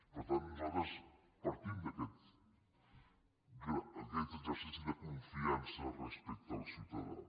per tant nosaltres partim d’aquest exercici de confiança respecte al ciutadà